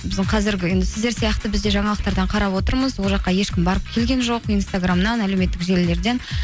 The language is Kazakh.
біздің қазіргі енді сіздер сияқты біз де жаңалықтардан қарап отырмыз ол жаққа ешкім барып келген жоқ инстаграмнан әлеуметтік желілерден